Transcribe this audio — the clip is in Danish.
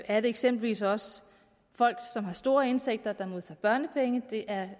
er det eksempelvis også folk som har store indtægter der modtager børnepenge det er